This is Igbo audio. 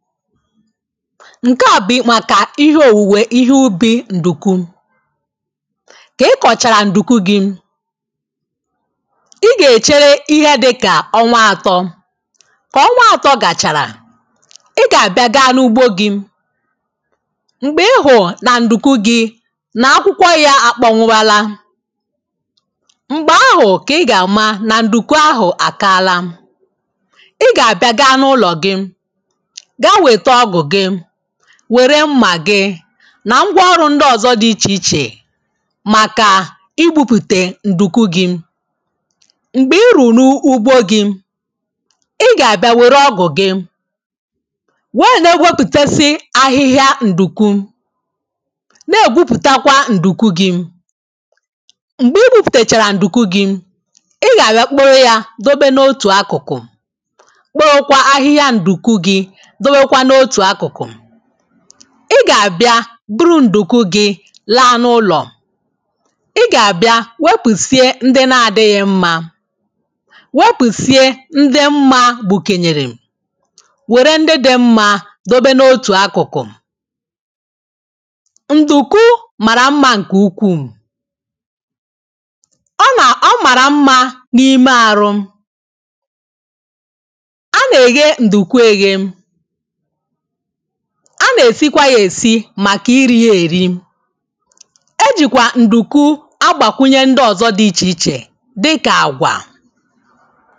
ǹke à bụ̀ ịmàkà ihe òwùwè ihe ubi̇ ǹdùku kà i kọ̀chàrà ǹdùku gị ị gà-èchere ihe dịkà ọnwa àtọ kà ọnwa àtọ gàchàrà ị gà-àbịa gaa n’ugbo gị m̀gbè ị hụ̀ụ̀ nà ǹdùku gị nà akwụkwọ ya àkpọ nwụwala m̀gbè ahụ̀ kà ị gà-àma nà ǹdùku ahụ̀ àkààla ị gà-àbịa gaa n’ụlọ̀ gị wère mma gị na ngwaọrụ ndị ọzọ dị iche iche maka i bupute ǹdùku gị m̀gbè i rùrù n’ugbo gị ị gà-àbịa wère ọgụ̀ gị weè nà-egwopùtesi ahịhịa ǹdùku na-ègwupùtakwa ǹdùku gị m̀gbè i gwupùtèchàrà ǹdùku gị ị gà-àbịa kpoo ya dobe n’otù akụ̀kụ̀ ị gà-àbịa buru ǹdùku gị laa n’ụlọ̀ ị gà-àbịa wepụsịe ndị na-adịghị mma wepụ̀sịe ndị mma gbùkènyèrè wère ndị dị mma dobe n’otù akụ̀kụ̀ ǹdùku màrà mma ǹkè ukwuù ọ nà ọ màrà mma n’ime àrụ a nà-eghe ǹdùku eghe a na-esikwa ya esi maka iri ya eri. ejikwa nduku agbakwụnye ndị ọzọ dị iche iche dịka agwa.